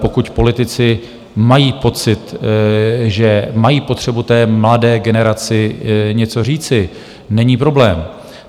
Pokud politici mají pocit, že mají potřebu té mladé generaci něco říci, není problém.